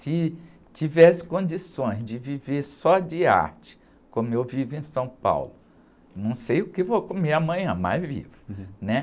Se tivesse condições de viver só de arte, como eu vivo em São Paulo, não sei o que vou comer amanhã, mas vivo, né?